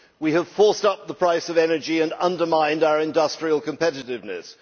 We have forced up the price of energy and undermined our industrial competitiveness.